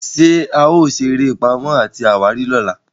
ṣe ao sere eré Pàmò àti àwárí lọla?